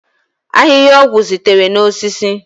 ahịhịa ọgwụ sitere na osisi